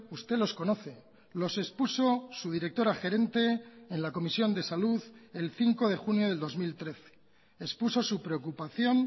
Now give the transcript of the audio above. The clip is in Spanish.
usted los conoce los expuso su directora gerente en la comisión de salud el cinco de junio del dos mil trece expuso su preocupación